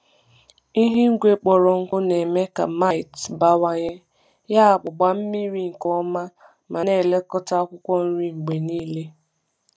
Ihu igwe kpọrọ nkụ na-eme ka mites bawanye, yabụ gbaa mmiri nke ọma ma na-elekọta akwụkwọ nri mgbe niile.